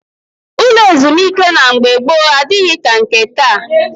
Ụlọ ezumike na mgbe gboo adịghị ka nke taa